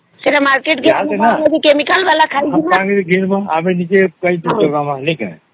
ସେତ market ରେ chemical ଵାଲା ଖାଇବୁ ଆଉ